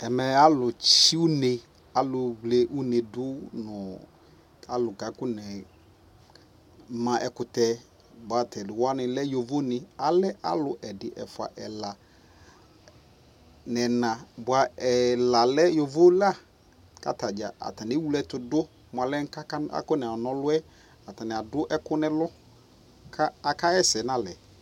Ɛmɛ alu tsii une alu vli une du nɔ alu ka kɔ nɛ ma ɛkutɛBua tɛ di wa ni lɛ yovo niAlɛ alu ɛdi , ɛfua, ɛla nɛ naBua ɛla lɛ yovo laKata dza ɛdini ɛwle tu du ka kɔ na ɔlu yɛAtani du ɛku nɛ lu ka aka ɣɛ sɛ na lɛ